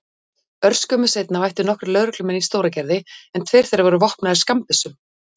Örskömmu seinna mættu nokkrir lögreglumenn í Stóragerði en tveir þeirra voru vopnaðir skammbyssum.